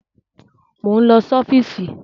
Mo ń lọ sí ọ́fíìsì